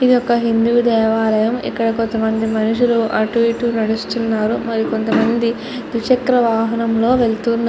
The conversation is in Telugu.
ఇది ఒక హిందూ దేవాలయం. ఇక్కడ కొంతమంది మనుషులు అటు ఇటు నడుస్తున్నారు. మరి కొంతమంది ద్విచక్ర వాహనంలో వెళ్తున్న --